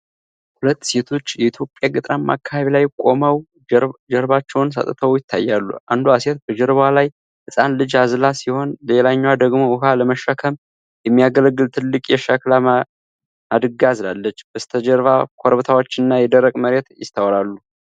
ሁለት ሴቶች የኢትዮጵያ ገጠራማ አካባቢ ላይ ቆመው ጀርባቸውን ሰጥተው ይታያሉ። አንዷ ሴት በጀርባዋ ላይ ህጻን ልጅ አዝላ ሲሆን፣ ሌላኛዋ ደግሞ ውሃ ለመሸከም የሚያገለግል ትልቅ የሸክላ ማድጋ አዝላለች። በስተጀርባ ኮረብታዎችና የደረቀ መሬት ይስተዋላል።